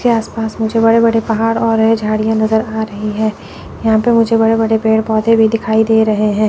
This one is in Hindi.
आप पास मुझे बड़े बड़े पहाड़ और है झाड़ियां नजर आ रही है यहां पर मुझे बड़े बड़े पेड़ पौधे भी दिखाई दे रहे हैं।